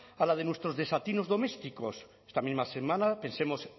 a la de nuestros desatinos domésticos esta misma semana pensemos